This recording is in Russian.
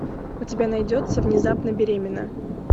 у тебя найдется внезапно беременна